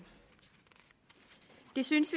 det synes